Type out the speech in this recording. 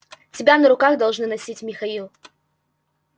тебя на руках должны носить михаил